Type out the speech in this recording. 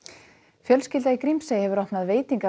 fjölskylda í Grímsey hefur opnað